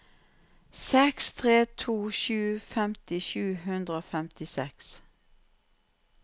seks tre to sju femti sju hundre og femtiseks